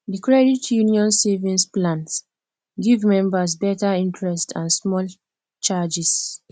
the credit union savings plan give members better interest and small charges